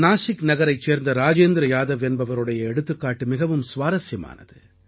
நாசிக் நகரைச் சேர்ந்த ராஜேந்திர யாதவ் என்பவருடைய எடுத்துக்காட்டு மிகவும் சுவாசரியமானது